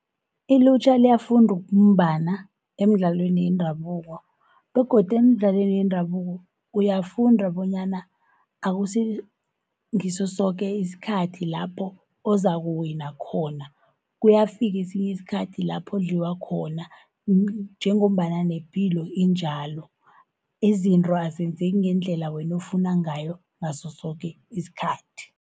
Ilutjha liyafunda ukumbana emidlalweni yendabuko, begodu emidlalweni yendabuko, uyafunda bonyana akusingiso soke isikhathi lapho ozakuwina khona. Kuyafika esinye isikhathi lapho udliwa khona, njengombana nepilo injalo izinto azenzeki ngendlela wena ofuna ngayo ngaso soke isikhathi.